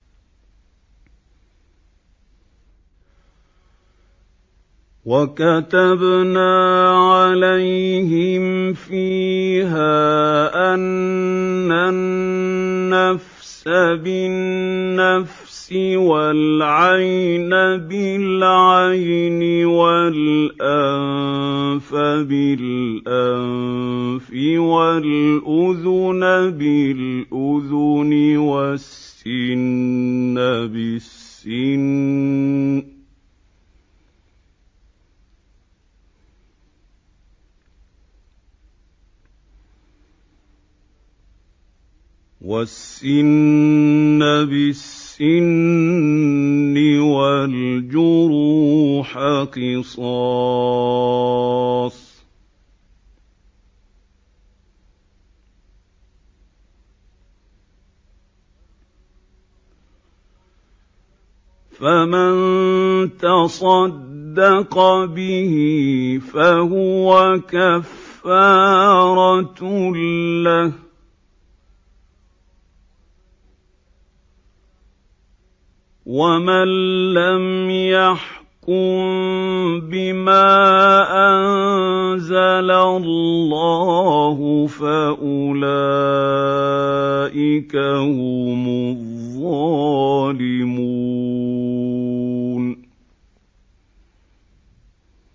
وَكَتَبْنَا عَلَيْهِمْ فِيهَا أَنَّ النَّفْسَ بِالنَّفْسِ وَالْعَيْنَ بِالْعَيْنِ وَالْأَنفَ بِالْأَنفِ وَالْأُذُنَ بِالْأُذُنِ وَالسِّنَّ بِالسِّنِّ وَالْجُرُوحَ قِصَاصٌ ۚ فَمَن تَصَدَّقَ بِهِ فَهُوَ كَفَّارَةٌ لَّهُ ۚ وَمَن لَّمْ يَحْكُم بِمَا أَنزَلَ اللَّهُ فَأُولَٰئِكَ هُمُ الظَّالِمُونَ